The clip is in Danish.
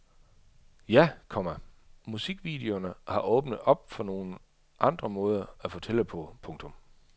Ja, komma musikvideoerne har åbnet op for nogle andre måder at fortælle på. punktum